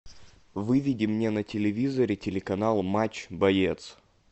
выведи мне на телевизоре телеканал матч боец